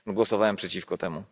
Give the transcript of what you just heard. Głosowałem przeciwko temu.